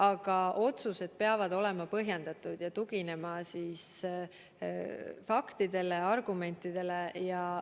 Aga otsused peavad olema põhjendatud ja tuginema faktidele ja argumentidele.